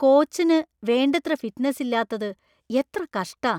കോച്ചിന് വേണ്ടത്ര ഫിറ്റ്‌നസ് ഇല്ലാത്തത് എത്ര കഷ്ടാ!